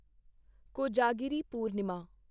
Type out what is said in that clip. Kojagiri Purnima